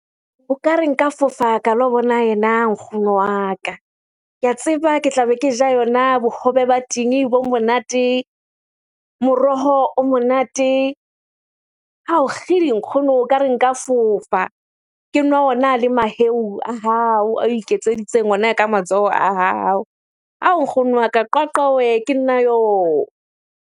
O ka re nka fofa ka lo bona ena nkgono wa ka. Ke a tseba ke tlabe ke ja yona bohobe ba tinyi bo monate, moroho o monate. Hawu kgidi! Nkgono nka re nka fofa. Ke nwa ona le maheu a hao ao iketseditseng ona ka matsoho a hao. Hawu! Nkgono wa ka, Qwaqwa weh ke nna oo!